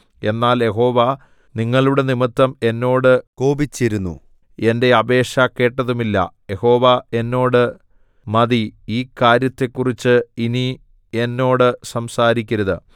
എന്നാൽ യഹോവ നിങ്ങളുടെ നിമിത്തം എന്നോട് കോപിച്ചിരുന്നു എന്റെ അപേക്ഷ കേട്ടതുമില്ല യഹോവ എന്നോട് മതി ഈ കാര്യത്തെക്കുറിച്ച് ഇനി എന്നോട് സംസാരിക്കരുത്